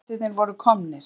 Varahlutirnir voru komnir.